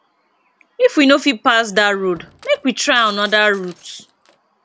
if we no fit pass dat road make we try anoda route